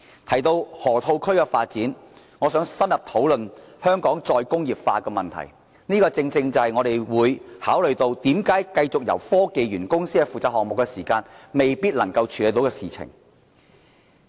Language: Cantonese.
提到河套區發展，我想深入討論香港再工業化的問題，而這正正是我們認為繼續由科技園公司負責項目未必能勝任的原因。